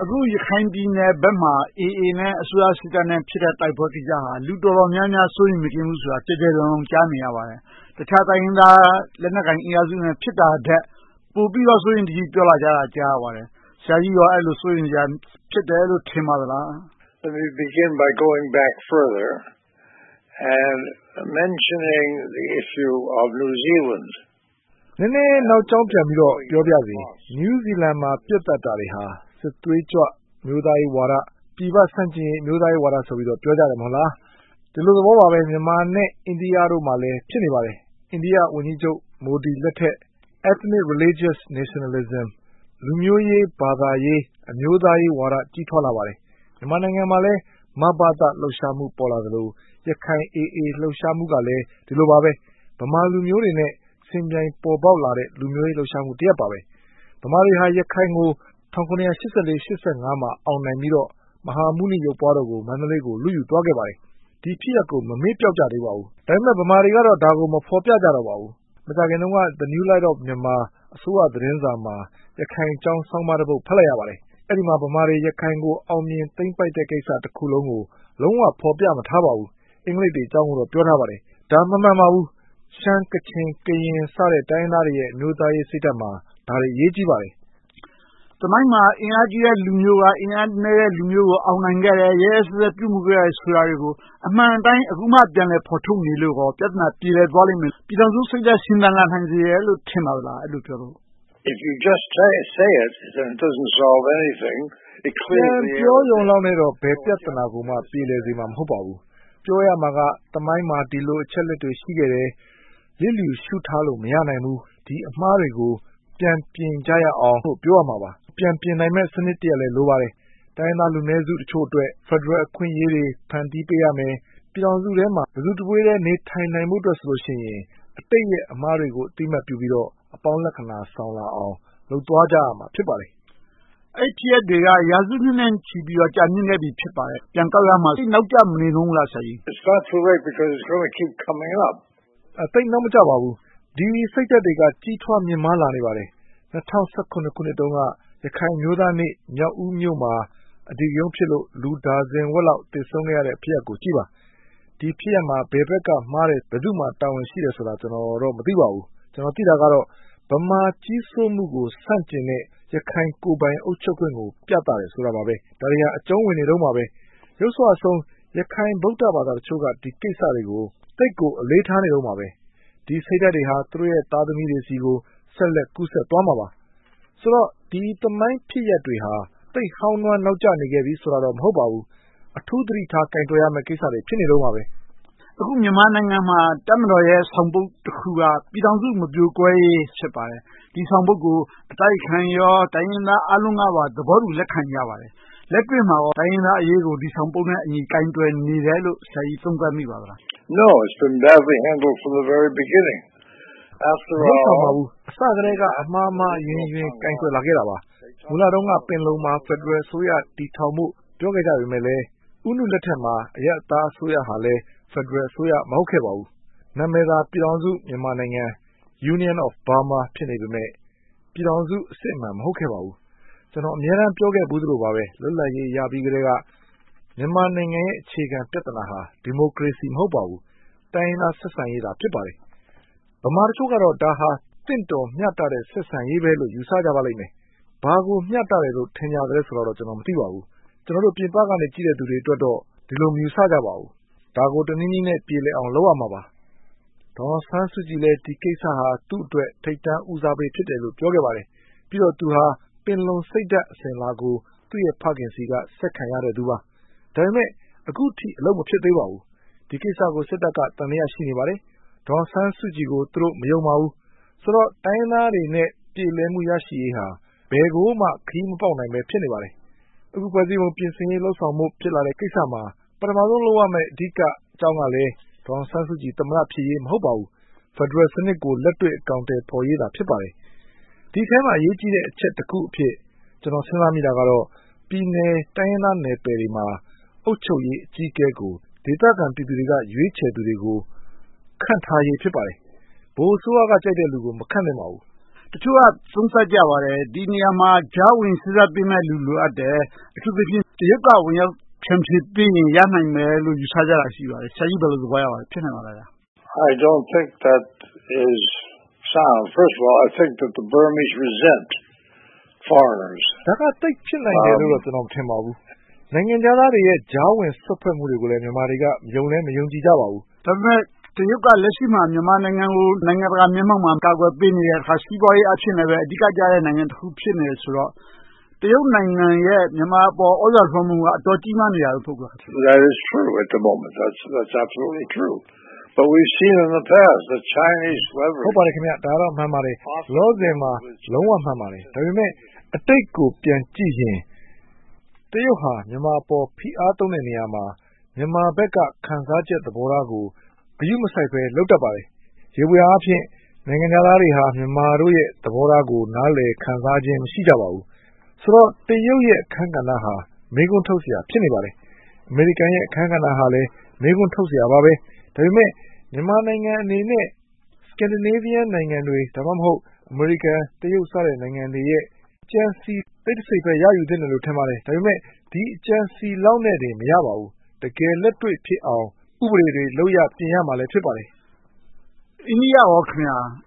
အခု ရခိုင်ပြည်နယ်ဘက်မှာ AA နဲ့ အစိုးရစစ်တပ်တို့ ဖြစ်နေတဲ့ တိုက်ပွဲကိစ္စဟာ လူတော်တော်များများ စိုးရိမ်မကင်း ဖြစ်နေတယ်ဆိုတာကို ကျယ်ကျယ်လောင်လောင် ကြားနေရပါတယ်။ တခြားတိုင်းရင်းသား လက်နက်ကိုင်အင်အားစုတွေနဲ့ ဖြစ်နေတာထက် ပိုပြီးတော့ စိုးရိမ်တကြီး ပြောလာကြတာကို ကြားသိရပါတယ်။ ဆရာကြီးအနေနဲ့ အဲဒီလို စိုးရိမ်စရာ ဖြစ်တယ်လို့ ဖြစ်မိပါလား။ နည်းနည်းနောက်ကြောင်းပြန်ပြီးတော့ ပြောပါရစေ New Zealand မှာ ပစ်သတ်တာတွေဟာ စစ်သွေးကြွ အမျိုးသားရေးဝါဒ၊ ပြည်ပဆန့်ကျင်ရေး အမျိုးသားရေးဝါဒလို့ ပြောကြတယ် မဟုတ်လား။ ဒီလိုသဘောပါပဲ မြန်မာနဲ့ အိန္ဒိယတို့မှာလည်း ဖြစ်နေပါတယ်။ အိန္ဒိယဝန်ကြီးချုပ် မိုဒီလက်ထက် Ethnic Religious Nationalism လူမျိုးရေး၊ ဘာသာရေး၊ အမျိုးသားရေးဝါဒ ကြီးထွားလာပါတယ်။ မြန်မာနိုင်ငံမှာလည်း မဘသ လှုပ်ရှားမှု ပေါ်လာသလို၊ ရခိုင် AA လှုပ်ရှားမှုကလည်း ဒီလိုပါပဲ။ ဗမာလူမျိုးတွေနဲ့ ယှဉ်ပြိုင်ပေါ်ပေါက်လာတဲ့ လူမျိုးရေးလှုပ်ရှားမှုတရပ်ပါ။ ဗမာတွေဟာ ရခိုင်ကို ၁၇၈၄-၈၅ မှာ အောင်နိုင်ပြီးတော့ မဟာမုနိရုပ်ပွားတော်ကို မန္တလေးကို လုယူသွားခဲ့ပါတယ်။ ဒီဖြစ်ရပ်ကို မမေ့ပျောက်ကြသေးပါဘူး။ ဒါပေမဲ့ ဗမာတွေကတော့ ဒါကို မဖော်ပြကြတော့ပါဘူး။ မကြာခင်တုန်းက New Light of Myanmar အစိုးရသတင်းစာမှာ ရခိုင်အကြောင်း ဆောင်းပါးတပုဒ် ဖတ်လိုက်ရပါတယ်။ အဲဒီမှာ ဗမာတွေ ရခိုင်ကို သိမ်းပိုက်အောင်မြင်တဲ့ကိစ္စတခုလုံးကို လုံးဝဖော်ပြမထားပါဘူး။ အင်္ဂလိပ်တွေအကြောင်းကိုတော့ ပြောထားပါတယ်။ ဒါ မမှန်ပါဘူး။ ရှမ်း၊ ကချင်၊ ကရင် စတဲ့ တိုင်းရင်းသားတွေရဲ့ အမျိုးသားရေးစိတ်ဓါတ်မှာ ဒါတွေအရေးကြီးပါတယ်။ သမိုင်းမှာ အင်အားကြီးတဲ့လူမျိုးက အင်အားနည်းတဲ့လူမျိုးကို အောင်နိုင်ခဲ့တယ်။ ရက်ရက်စက်စက် ပြုမှုခဲ့တယ်ဆိုတာတွေကို အမှန်အတိုင်း အခုမှ ဖော်ထုတ်နေလို့ ပြဿနာပြေလည်သွားမယ်၊ ပြည်ထောင်စုစိတ်ဓါတ် ရှင်သန်လာနိုင်မယ်လို့ ထင်ပါသလား။ ပြန်ပြောရုံနဲ့ ဘယ်ပြဿနာကိုမှ ပြေလည်သွားစေမှာ မဟုတ်ပါဘူး။ ပြောရမှာက သမိုင်းမှာ ဒီလိုအချက်အလက်တွေ ရှိခဲ့တယ်။ လစ်လျူရှုထားလို့ မရနိုင်ဘူး။ ဒီအမှားတွေကို ပြန်ပြင်ကြရအောင်ဆိုပြီး ပြောရမှာပါ။ ပြန်ပြင်နိုင်မယ့်စနစ်တရပ်လည်း လိုပါတယ်။ တိုင်းရင်းသားလူနည်းစုတချို့အတွက် ဖယ်ဒရယ်အခွင့်အရေးတွေ ဖန်တီးပေးရမယ်။ ပြည်ထောင်စုထဲမှာ တစုတဝေးတည်း နေနိုင်ဖို့အတွက် အတိတ်ရဲ့အမှားတွေကို အသိအမှတ်ပြုပြီးတော့ အပေါင်းလက္ခဏာဆောင်လာအောင် လုပ်သွားကြရမှာ ဖြစ်ပါတယ်။ အဲဒီဖြစ်ရပ်တွေက ရာစုနှစ်ထက်ကြာမြင့်ခဲ့ပြီ ဖြစ်ပါတယ်။ ပြန်ကောက်ရမှာ သိပ်နောက်ကျမနေဘူးလား။ သိပ်နောက်မကျပါဘူး။ ဒီစိတ်ဓါတ်တွေက ကြီးမားမြင့်မားလာနေပါတယ်။ ၂၀၁၇ ခုနှစ်တုန်းက ရခိုင်အမျိုးသားနေ့မှာ မြောက်ဦးမြို့မှာ အဓိကရုဏ်းဖြစ်လို့ လူဒါဇင်ဝက်လောက် သေဆုံးခဲ့ရတဲ့ ဖြစ်ရပ်ကိုကြည့်ပါ။ ဒီဖြစ်ရပ်မှာ ဘယ်ဘက်ကမှားတယ်။ ဘယ်သူမှာ တာဝန်ရှိတယ်ဆိုတာ ကျနော်တော့ မသိပါဘူး။ ကျနော် သိတာကတော့ ဗမာကြီးစိုးမှုကို ဆန့်ကျင်တဲ့ ရခိုင်ကိုယ်ပိုင်အုပ်ချုပ်ခွင့်ကို ပြသတာပါ။ ဒါတွေက အကြုံဝင်နေတုန်းပါ။ ယုတ်စွအဆုံး ရခိုင် ဗုဒ္ဓဘာသာအချို့က ဒီကိစ္စတွေကို သိပ်ကိုအလေးထားနေတုန်းပါပဲ။ ဒီစိတ်ဓါတ်တွေဟာ သူတို့ရဲ့ သားသမီးတွေဆီကို ဆက်လက်ကူးစက်သွားမှာပါ။ ဆိုတော့ ဒီသမိုင်းဖြစ်ရပ်တွေဟာ သိပ်ဟောင်းနွှမ်းနောက်ကျနေပြီဆိုတာတော့ မဟုတ်ပါဘူး။ အထူးသတိထားကိုင်တွယ်ရမယ့် ကိစ္စတွေ ဖြစ်နေတုန်းပါပဲ။ အခု မြန်မာနိုင်ငံမှာ တပ်မတော်ရဲ့ ဆောင်ပုဒ်တခုက ပြည်ထောင်စုမပြိုကွဲရေး ဖြစ်ပါတယ်။ ဒီဆောင်ပုဒ်ကို အတိုက်အခံရော၊ တိုင်းရင်းသားအားလုံးကပါ သဘောတူလက်ခံကြပါတယ်။ လက်တွေ့မှာ တိုင်းရင်းသားအရေးကို ဒီဆောင်ပုဒ်နဲ့အညီ ကိုင်တွယ်နေတယ်လို့ ဆရာကြီး သုံးသပ်မိပါသလား။ မလုပ်ဆောင်ပါဘူး။ အစကတည်းက အမှားမှားအယွင်းယွင်း ကိုင်တွယ်လာခဲ့တာပါ။ မူလတုန်းက ပင်လုံမှာ ဖယ်ဒရယ်အစိုးရ တည်ထောင်ဖို့ ပြောခဲ့ကြပေမယ့် ဦးနုလက်ထက်မှာ အရပ်သားအစိုးရဟာလည်း ဖယ်ဒရယ်အစိုးရ မဟုတ်ခဲ့ပါဘူး။ နာမည်သာ ပြည်ထောင်စုမြန်မာနိုင်ငံ Union of Burma ဖြစ်နေပေမယ့် ပြည်ထောင်စု အစစ်အမှန် မဟုတ်ခဲ့ပါဘူး။ ကျနော် အမြဲတမ်းပြောခဲ့ဖူးသလိုပါပဲ လွတ်လပ်ရေးရပြီးကတည်းက မြန်မာနိုင်ငံရဲ့ အခြေခံပြဿနာဟာ ဒီမိုကရေစီ မဟုတ်ပါဘူး။ တိုင်းရင်းသားဆက်ဆံရေးသာ ဖြစ်ပါတယ်။ ဗမာတချို့ကတော့ ဒါဟာ သင့်တော်မျှတတဲ့ ဆက်ဆံရေးပဲလို့ ယူဆကြပါလိမ့်မယ်။ ဘာကိုမျှတတယ်လို့ ထင်ကြသလဲတော့ မသိပါဘူး။ ကျနော်တို့ ပြင်ပကနေ ကြည့်တဲ့လူတွေအတွက်တော့ ဒီလိုမယူဆကြပါဘူး။ ဒါကို တနည်းနည်းနဲ့ ပြေလည်အောင် လုပ်ရမှာပါ။ ဒေါ်အောင်ဆန်းစုကြည်လည်း ဒီကိစ္စဟာ သူ့အတွက် ထိပ်တန်းဦးစားပေး ပြောခဲ့ပါတယ်။ ပြီးတော့ သူဟာ ပင်လုံစိတ်ဓါတ် အစဉ်အလာကို သူ့ရဲ့ဖခင်ဆီက ဆက်ခံရတဲ့သူပါ။ ဒါပေမဲ့ အခုထိ အလုပ်မဖြစ်သေးပါဘူး။ ဒီကိစ္စကို စစ်တပ်က သံသယ ရှိနေပါသေးတယ်။ ဒေါ်အောင်ဆန်းစုကြည်ကို သူတို့မယုံပါဘူး။ ဆိုတော့ တိုင်းရင်းသားတွေနဲ့ ပြေလည်မှု ရရှိရေးဟာ ဘယ်ကိုမှ ခရီးမပေါက်နိုင်ဘဲ ရှိနေပါသေးတယ်။ အခု ဖွဲ့စည်းပုံပြင်ဆင်ဖို့ ဖြစ်လာနေတဲ့ကိစ္စမှာ ပထမဦးဆုံးလုပ်ရမယ့် အဓိကအကြောင်းကလည်း ဒေါ်အောင်ဆန်းစုကြည် သမ္မတ ဖြစ်ရေး မဟုတ်ပါဘူး။ ဖယ်ဒရယ်စနစ်ကို လက်တွေ့အကောင်အထည်ဖော်ရေးသာ ဖြစ်ပါတယ်။ ဒီအထဲမှာ အရေးကြီးတဲ့အချက်တချက်အဖြစ် ကျနော် စဉ်းစားမိတာကတော့ ပြည်နယ်တိုင်းရင်းသားနယ်ပယ်တွေမှာ အုပ်ချုပ်ရေးအကြီးအကဲကို ဒေသခံပြည်သူတွေက ရွေးချယ်သူတွေကို ခန့်ထားရေး ဖြစ်ပါတယ်။ ဗဟိုအစိုးရကကြိုက်တဲ့လူကို မခန့်သင့်ပါဘူး။ တချို့က သုံးသပ်ကြပါတယ်။ ဒီနေရာမှာ ကြာဝင်စေ့စပ်ပေးရမယ့် လူလိုအပ်တယ်။ အထူးသဖြင့် တရုတ်က ဝင်ရောက်ဖြန့်ဖြေပေးရင် ရနိုင်မယ်လို့ ယူဆကြတာ ရှိပါတယ်။ ဆရာကြီး ဘယ်လိုသဘောရပါလဲ။ ဖြစ်နိုင်ပါသလား။ ဒါက သိပ်ဖြစ်နိုင်မယ်လို့ ကျနော် မထင်ပါဘူး။ နိုင်ငံခြားသားတွေရဲ့ ကြားဝင်စွက်ဖက်မှုတွေကိုလည်း မြန်မာတွေက ယုံလည်းမယုံကြည်ကြပါဘူး။ ဒါပေမဲ့ တရုတ်က လက်ရှိမှာ မြန်မာနိုင်ငံကို နိုင်ငံတကာမျက်မှောက်မှာ ကာကွယ်ပေးနေတယ်။ စီးပွားရေးအားဖြင့်လည်း အဓိကကျနေတယ်ဆိုတော့ တရုတ်နိုင်ငံရဲ့ မြန်မာအပေါ် သြဇာလွှမ်းမိုးမှုက အတော်ကြီးမားနေတယ် မဟုတ်ဘူးလား။ ဟုတ်ပါတယ်။ ဒါကတော့ မှန်ပါတယ်။ လောလောဆယ်မှာ လုံးဝမှန်ပါတယ်။ ဒါပေမဲ့ အတိတ်ကို ပြန်ကြည့်ရင် တရုတ်က မြန်မာအပေါ် ဖိအားသုံးတဲ့နေရာမှာ မြန်မာဘက်က ခံစားချက်သဘောထားကို ဂရုမစိုက်ဘဲ လုပ်တတ်ပါတယ်။ ယေဘုယျအားဖြင့် နိုင်ငံခြားသားတွေဟာ မြန်မာတို့ရဲ့ သဘောထားကို နားလည်ခံစားခြင်း မရှိကြပါဘူး။ ဆိုတော့ တရုတ်တို့ရဲ့ အခန်းကဏ္ဍဟာ မေးခွန်းထုတ်စရာ ဖြစ်နေပါတယ်။ အမေရိကန်ရဲ့ အခန်းကဏ္ဍဟာလည်း မေးခွန်းထုတ်စရာပါပဲ။ ဒါပေမဲ့ မြန်မာနိုင်ငံအနေနဲ့ Scandinavia နိုင်ငံတွေ။ ဒါမှမဟုတ် အမေရိကန်၊ တရုတ် စတဲ့နိုင်ငံတွေရဲ့ အကြံဉာဏ် တစိတ်တပိုင်းပဲ ရယူသင့်တယ်လို့ ထင်ပါတယ်။ ဒါပေမဲ့ ဒီအကြံအစည်လောက်နဲ့တော့ မရပါဘူး။ တကယ်လက်တွေ့ဖြစ်အောင် ဥပဒေတွေ လုပ်ရပ်တွေ ပြင်ရမှာ ဖြစ်ပါတယ်။ အိန္ဒိယအနေနဲ့ကော..